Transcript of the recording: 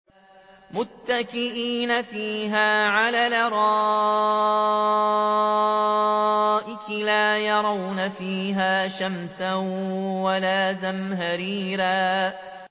مُّتَّكِئِينَ فِيهَا عَلَى الْأَرَائِكِ ۖ لَا يَرَوْنَ فِيهَا شَمْسًا وَلَا زَمْهَرِيرًا